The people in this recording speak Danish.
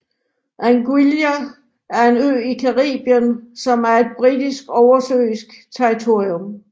Anguilla er en ø i Caribien som er et britisk oversøisk territorium